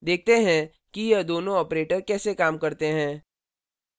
देखते हैं कि ये दोनों operators कैसे काम करते हैं